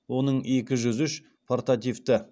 оның екі жүз үш портативті